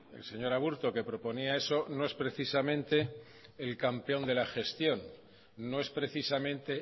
el señor aburto que proponía eso no es precisamente el campeón de la gestión no es precisamente